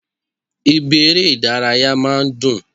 Ibi eré Ìdárayá máa n dùn